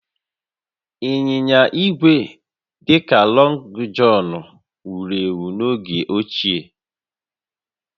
Ịnyịnya igwe dị ka Lọngụ Jọnụ wuru ewu n'oge ochie